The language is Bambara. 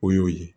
O y'o ye